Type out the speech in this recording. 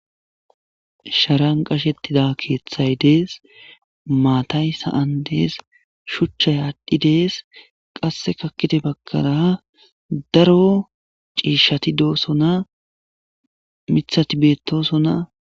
sharan qashettida keeththay dees maatay sa7an dees shuchchay aadhdhi dees qasse kakkite bagkara daro ciishati doosona mithati bettoosona